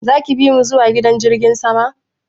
Zaki bimu zuwa gidan jirgin sama?